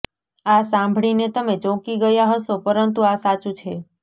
આ સાંભળીને તમે ચોંકી ગયા હશો પરંતુ આ સાચું છે